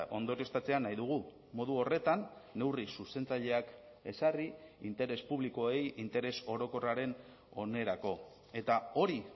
ondorioztatzea nahi dugu modu horretan neurri zuzentzaileak ezarri interes publikoei interes orokorraren onerako eta hori